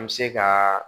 An bɛ se ka